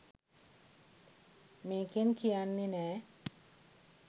මේකෙන් කියන්නෙ නෑ